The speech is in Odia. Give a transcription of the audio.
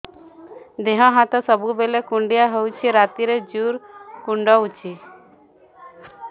ଦେହ ହାତ ସବୁବେଳେ କୁଣ୍ଡିଆ ହଉଚି ରାତିରେ ଜୁର୍ କୁଣ୍ଡଉଚି